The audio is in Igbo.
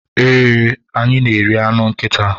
Ee, anyị na-eri anụ nkịta.